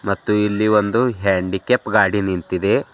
ಮತ್ತು ಇಲ್ಲಿ ಒಂದು ಹ್ಯಾಂಡಿಕ್ಯಾಪ್ ಗಾಡಿ ನಿಂತಿದೆ.